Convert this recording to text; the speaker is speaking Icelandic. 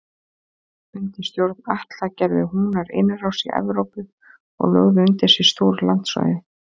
Undir stjórn Atla gerðu Húnar innrás í Evrópu og lögðu undir sig stór landsvæði.